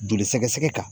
Joli sɛgɛsɛgɛ kan